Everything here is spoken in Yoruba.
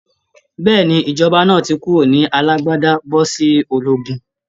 Bẹ́ẹ̀ni, ìjọba náà ti kúrò ní alágbádá bọ́ sí ológun